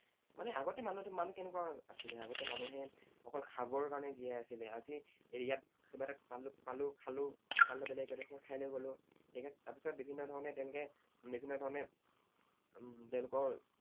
মানে আগতে মানে মানুহ কেনেকুৱা আছিলে, আগতে মানুহে অকল খাবৰ কাৰণে জীয়াই আছিল। আজি ইয়াত কিবা এটা পালো, খালো, আন বেলেগ এডোখৰ ঠাইলৈ গলো, ঠিক আছে? তাৰ পিছত বিভিন্ন ধৰণে তেওঁলোকে বিভিন্ন ধৰণে উম তেওঁলোকৰ